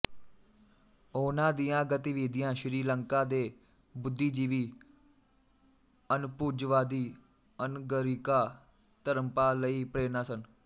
ਉਹਨਾਂ ਦੀਆਂ ਗਤੀਵਿਧੀਆਂ ਸ਼੍ਰੀ ਲੰਕਾ ਦੇ ਬੁੱਧੀਜੀਵੀ ਅਨਭੁਜਵਾਦੀ ਅਨਗਰਿਕਾ ਧਰਮਪਾਲ ਲਈ ਪ੍ਰੇਰਣਾ ਸਨ